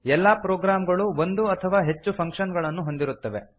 ಎಲ್ಲಾ ಪ್ರೊಗ್ರಾಮ್ ಗಳೂ ಒಂದು ಅಥವಾ ಹೆಚ್ಚು ಫಂಕ್ಷನ್ ಗಳನ್ನು ಹೊಂದಿರುತ್ತವೆ